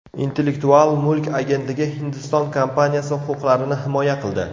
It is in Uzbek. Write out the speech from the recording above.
Intellektual mulk agentligi Hindiston kompaniyasi huquqlarini himoya qildi.